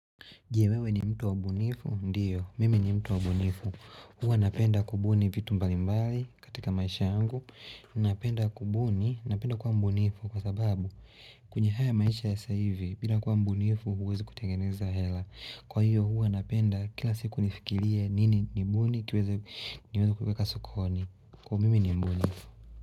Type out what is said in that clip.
Je, wewe ni mtu wa mbunifu? Ndiyo, mimi ni mtu wa mbunifu. Huwa napenda kubuni vitu mbali mbali katika maisha yangu. Napenda kubuni, napenda kuwa mbunifu kwa sababu kwenye haya maisha ya sa hivi, bila kuwa mbunifu huwezi kutengeneza hela. Kwa hiyo huwa napenda kila siku nifikirie nini ni mbuni kiwezi niwezi kuweka sukoni. Kwa mimi ni mbunifu.